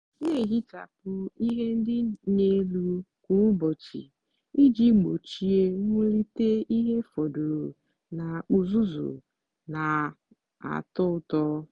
na-ehichapụ ihe ndị dị n'elu kwa ụbọchị iji gbochie mwulite ihe fọdụrụ na uzuzu na-atọ ụtọ.